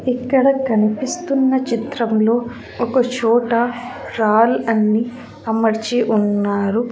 ఇక్కడ కనిపిస్తున్న చిత్రంలో ఒక చోట రాల్ అన్ని అమర్చి ఉన్నారు.